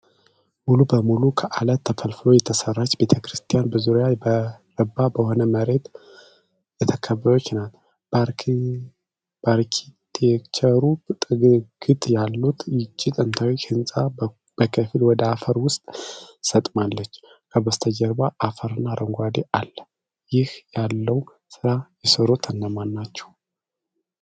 ሙሉ በሙሉ ከአለት ተፈልፍሎ የተሰራች ቤተክርስቲያን በዙሪያዋ በረባ በሆነ መሬት የተከበበች ናት። በአርኪቴክቸሩ ጥግግት ያላት ይህች ጥንታዊ ሕንፃ በከፊል ወደ አፈር ውስጥ ሰጥማለች። ከበስተጀርባ አፈርና አረንጓዴነት አለ፤ እንዲህ ያለውን ሥራ የሠሩት እነማን ናቸው?